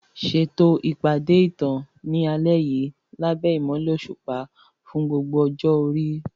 Ṣètò ìpàdé ìtàn ní alẹ́ yìí lábẹ́ ìmọ́lẹ̀ òṣùpá fún gbogbo ọjọ́ orí.